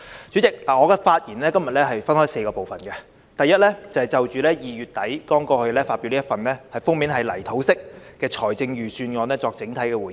主席，我今天的發言分為4個部分，第一是就2月底剛發表的這份封面為泥土色的財政預算案作整體回應。